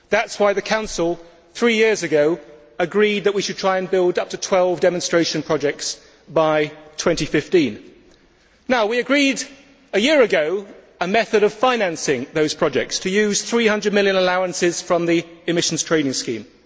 That is why the Council three years ago agreed that we should try and build up to 12 demonstration projects by 2015. Now, we agreed a year ago a method of financing those projects to use 300 million in allowances from the emissions trading scheme.